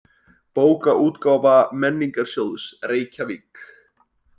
Bókaútgáfa Menningarsjóðs, Reykjavík.